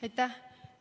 Aitäh!